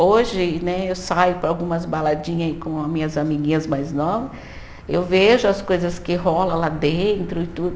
Hoje né, eu saio para algumas baladinha aí com as minhas amiguinhas mais nova, eu vejo as coisas que rola lá dentro e tudo.